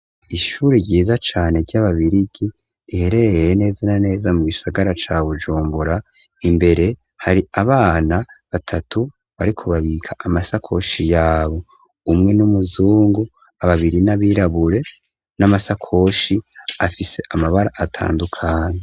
Ishuri ryiza cane ry'ababirigi riherereye neza naneza mu'gishagara cabu ujumbura imbere hari abana batatu barikubabika amasakoshi yabo umwe n'umuzungu ababiri n'abirabure n'amasakoshi afise amabara atandukanye.